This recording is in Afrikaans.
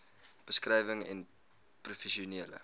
beskrywing n professionele